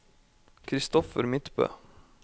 Kristoffer Midtbø